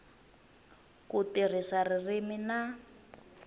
hi ku tirhisa ririmi na